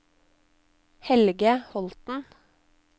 Helge Holten